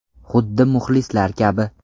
Xuddi muxlislar kabi.